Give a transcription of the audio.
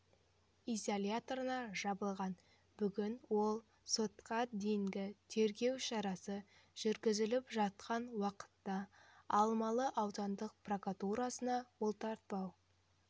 изоляторына жабылған бүгін ол сотқа дейінгі тергеу шарасы жүргізіліп жатқан уақытта алмалы аудандық прокуратурасына бұлтартпау